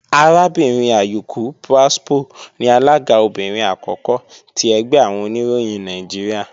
Arábìnrin Ayuku Pwaspo ni alága obìnrin àkọ́kọ́ ti ẹgbẹ́ àwọn Oníròyìn Nàìjíríà